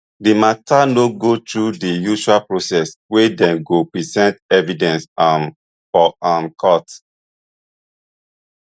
di mata no go through di usual process wey dem go present evidence um for um court